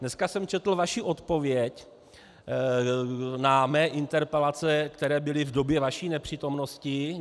Dneska jsem četl vaši odpověď na své interpelace, které byly v době vaší nepřítomnosti.